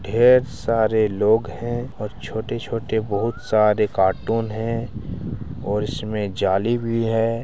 ढ़ेर सारे लोग हैं और छोटे-छोटे बोहोत सारे कार्टून है और इसमें जाली भी है ।